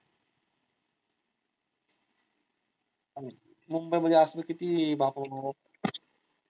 मुंबई मध्ये असलं किती बाबा बाबा